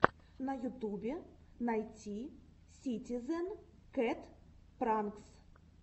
на ютубе найти ситизен кэт пранкс